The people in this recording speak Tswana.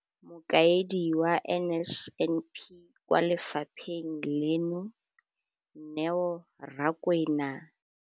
Mokaedi wa NSNP kwa lefapheng leno, Neo Rakwena.